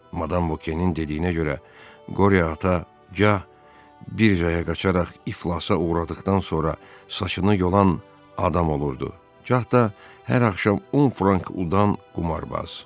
Madam Vokenin dediyinə görə Qorye ata gah bir zaya qaçaraq iflasa uğradıqdan sonra saçını yolan adam olurdu, gah da hər axşam 10 frank udan qumarbaz.